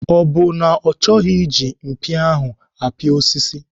Ọ bụ na ọ chọghị iji mpia ahụ apia osisi?